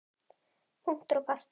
Punktur basta!